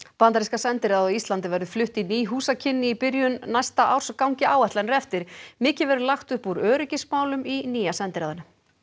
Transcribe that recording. bandaríska sendiráðið á Íslandi verður flutt í ný húsakynni í byrjun næsta árs gangi áætlanir eftir mikið verður lagt upp úr öryggismálum í nýja sendiráðinu